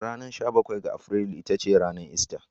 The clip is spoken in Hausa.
Ranar sha bakwai ga Afrilu ita ce ranar ister.